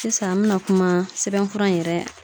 Sisan an bina kuma sɛbɛnfura in yɛrɛ